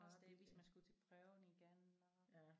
Også det hvis man skulle til prøven igen og